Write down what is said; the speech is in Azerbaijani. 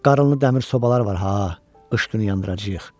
Qarınlı dəmir sobalar var ha, qış günü yandıracağıq.